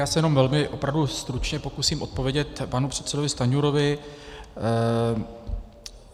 Já se jenom velmi, opravdu stručně, pokusím odpovědět panu předsedovi Stanjurovi.